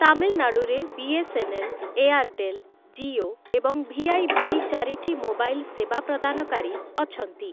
ତାମିଲନାଡୁରେ ବି.ଏସ୍‌.ଏନ୍‌.ଏଲ୍‌., ଏୟାରଟେଲ, ଜିଓ ଏବଂ ଭିଆଇ ଭଳି ଚାରିଟି ମୋବାଇଲ ସେବା ପ୍ରଦାନକାରୀ ଅଛନ୍ତି ।